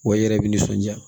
Wa i yɛrɛ bɛ nisɔnja